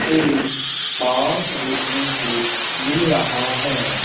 एक पार्क देखने को मिल रहा है।